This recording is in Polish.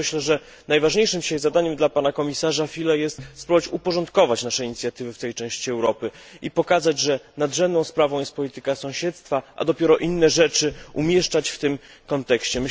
Dlatego myślę, że najważniejszym dzisiaj zadaniem dla pana komisarza Füle jest spróbować uporządkować nasze inicjatywy w tej części Europy i pokazać, że nadrzędną sprawą jest polityka sąsiedztwa, a dopiero inne kwestie umieszczać w tym kontekście.